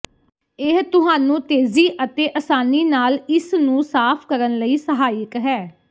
ਇਹ ਤੁਹਾਨੂੰ ਤੇਜ਼ੀ ਅਤੇ ਅਸਾਨੀ ਨਾਲ ਇਸ ਨੂੰ ਸਾਫ਼ ਕਰਨ ਲਈ ਸਹਾਇਕ ਹੈ